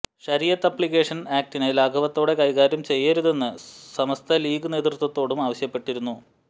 ശരീഅത്ത് ആപ്ലിക്കേഷന് ആക്ടിനെ ലാഘവത്തോടെ കൈകാര്യംചെയ്യരുതെന്ന് സമസ്ത ലീഗ് നേതൃത്വത്തോടും ആവശ്യപ്പെട്ടിരുന്നു